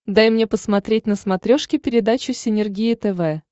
дай мне посмотреть на смотрешке передачу синергия тв